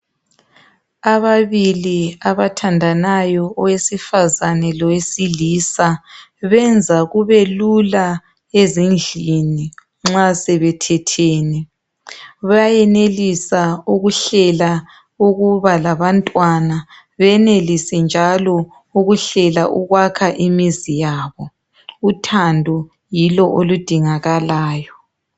ababili abathandanayo owesifazana lowesilisa benza kubelula ezindlini nxa sebethethene bayenelisa ukuhlela ukuba labantwana benelise njalo ukuhlela ukwakha imizi yabo uthando yilo oludingakalayo